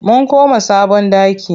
Mun koma sabon ɗaki.